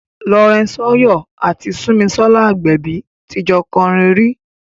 Lawrence Oyor àti Sunmisola Agbebi ti jọ kọrin rí.